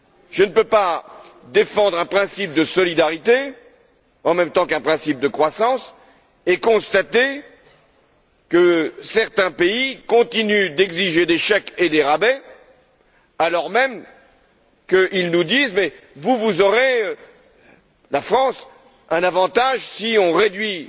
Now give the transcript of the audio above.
je ne peux pas défendre un principe de solidarité en même temps qu'un principe de croissance et constater que certains pays continuent d'exiger des chèques et des rabais, alors même qu'ils nous disent Vous, la France, vous aurez un avantage si on réduit